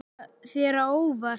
Kom þetta þér á óvart?